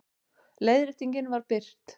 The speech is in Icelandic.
Leiðréttingin var birt